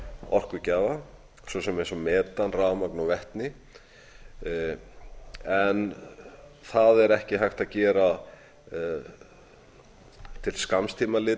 orkugjafa svo sem eins og metan rafmagn og vetni en það er ekki hægt að gera til skamms